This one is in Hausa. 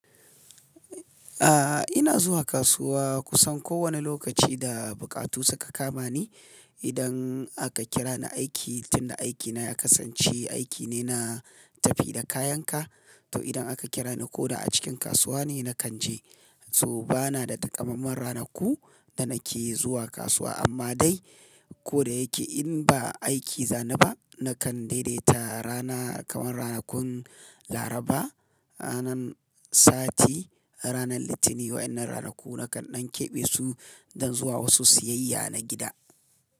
A ina zuwa kasuwa kusan kowane lokaci da buƙatu suka kama ni. Idan aka kira ni aiki tun da aikina ya kasance aiki ne na tafi da kayan ka, to idan aka kira ni ko da a cikin kasuwa ne na kan je. To bana da takammamen ranaku da nake zuwa kasuwa amma dai ko da yake in ba aiki zani ba, na kan daidaita rana kamar ranakun Laraba ranan sati, ranar Litinin wa'yan nan ranaku na kan ɗan keɓe su don zuwa wasu siyayya na gida.